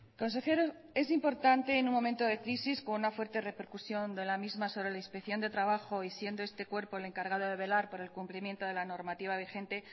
consejero es importante en un momento de crisis con una fuerte repercusión de la misma sobre la inspección de trabajo y siendo este cuerpo el encargado de velar por el cumplimiento de la normativa vigente